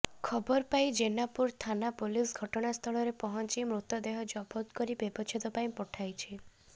ଖବର ପାଇ ଜେନାପୁର ଥାନା ପୁଲିସ ଘଟଣାସ୍ଥଳରେ ପହଞ୍ଚି ମୃତଦେହ ଜବତ କରି ବ୍ୟବଛେଦ ପାଇଁ ପଠାଇଛି